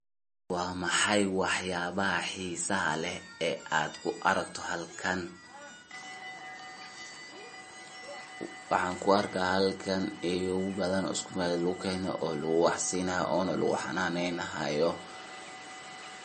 Waa maxay waxyaabaha xiisaha leh ee aad ku aragto halkan, waaxan kuarka halkan eyow bathan o iskumeel lagukene, o lagu waax siinaayo onaa lagu xananeynayo.